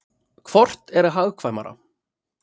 Hvort er hagkvæmara?